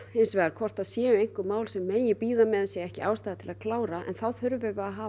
hvort það séu einhver mál sem megi bíða með og ekki ástæða til að klára en þá þurfum við að hafa